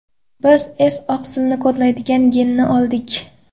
Biz S-oqsilni kodlaydigan genni oldik.